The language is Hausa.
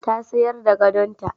Ta sayar da gadonta.